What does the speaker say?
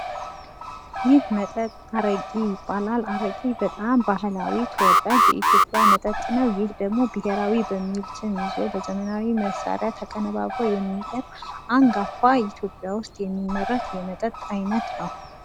ይህ መጠጥ አረቂ ይባላል። አረቂ በጣም ባህላዊ ተወዳጅ የኢትዮጵያ መጠጥ ነው። ይህ ደግሞ ብሄራዊ በሚል ስም ይዞ በዘመናዊ መሳሪያ ተቀነባብሮ የሚቀርብ አንጋፋ የኢትዮጵያ ውስጥ የሚመረት የመጠጥ አይነት ነው።